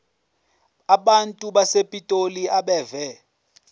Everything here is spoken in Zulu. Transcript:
abantu basepitoli abeve